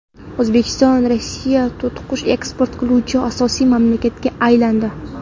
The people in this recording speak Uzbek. O‘zbekiston Rossiyaga to‘tiqush eksport qiluvchi asosiy mamlakatga aylandi.